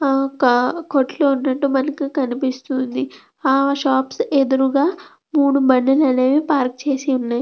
ఆ ఒక కోట్టు ఉండటం మనకు కనిపిస్తుంది. ఆ షాప్స్ ఎదురుగా మూడు బండ్లు అనేవి పార్క్ చేసి ఉన్నాయి.